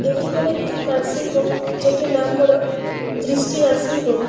এটি হলো একটি নার্সিং হোম । যেটির নাম হলো দৃষ্টি নার্সিং হোম ।